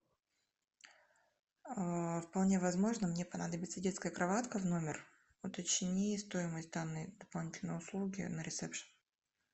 вполне возможно мне понадобится детская кроватка в номер уточни стоимость данной услуги на ресепшн